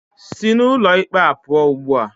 Sị n'ụlọ ikpe a pụọ ugbu a!